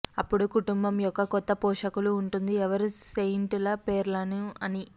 అప్పుడు కుటుంబం యొక్క కొత్త పోషకులు ఉంటుంది ఎవరు సెయింట్ ల పేర్లను అని